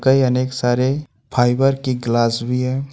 कई अनेक सारे फाइबर की गिलास भी है।